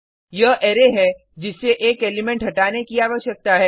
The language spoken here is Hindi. यह अरै है जिससे एक एलिमेंट हटाने की आवश्यकता है